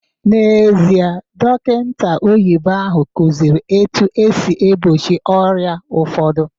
N'ezie, dọkịta oyibo ahụ kụziri etu esi egbochi ọrịa ụfọdụ